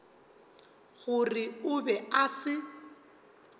gore o be a se